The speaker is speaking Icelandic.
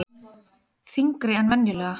Þyngri en venjulega.